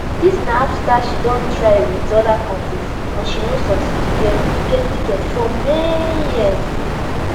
dis na afta she don try wit oda parties and she no succeed to get to get ticket for many years